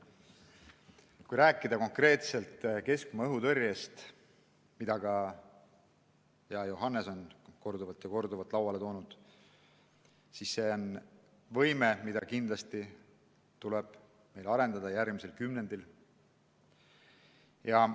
Kui rääkida konkreetselt keskmaa-õhutõrjest, mida hea Johannes korduvalt lauale tõi, siis see on võime, mida kindlasti tuleb järgmisel kümnendil arendada.